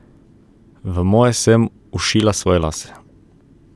V moje sem všila svoje lase.